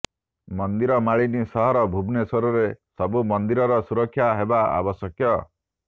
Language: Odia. ମନ୍ଦିରମାଳିନୀ ସହର ଭୁବନେଶ୍ୱରରେ ସବୁ ମନ୍ଦିରର ସୁରକ୍ଷା ହେବା ଆବଶ୍ୟକ